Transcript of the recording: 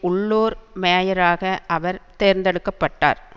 உள்ளூர் மேயராக அவர் தேர்ந்தெடுக்க பட்டார்